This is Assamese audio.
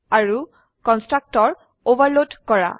আৰু কন্সট্ৰাকটৰ ওভাৰলোড কৰা